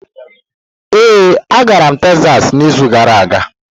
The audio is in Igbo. Ee, agara m Tekzas n'izu gara aga.